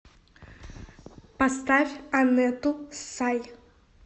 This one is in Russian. поставь анету сай